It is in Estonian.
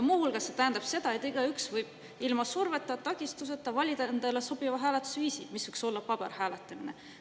Muu hulgas see tähendab seda, et igaüks võib ilma surveta ja takistuseta valida endale sobiva hääletusviisi, mis võib olla ka paberil hääletamine.